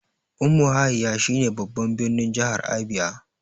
Umuahia shi ne babban birnin jahar Abia